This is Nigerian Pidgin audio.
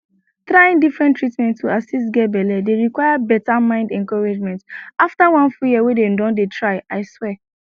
trying different treatment to assist get belle dey require better mind encouragement after one full year wey dem don dey tryi swear